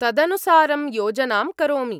तदनुसारं योजनां करोमि।